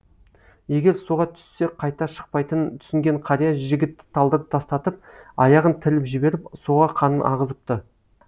егер суға түссе қайта шықпайтынын түсінген қария жігітті талдырып тастатып аяғын тіліп жіберіп суға қанын ағызыпты